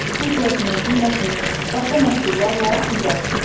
Keyfiyyətini, qiymətini, başqa məhsullarla müqayisə edir.